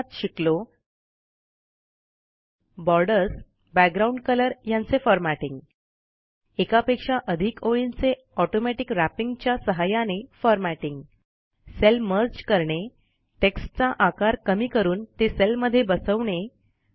आपण यात शिकलो160 बॉर्डर्स बॅकग्राऊंड कलर यांचे फॉरमॅटिंग एकापेक्षा अधिक ओळींचे ऑटोमॅटिक रॅपिंग च्या सहाय्याने फॉरमॅटिंग सेल मर्ज करणे टेक्स्टचा आकार कमी करून ते सेलमध्ये बसवणे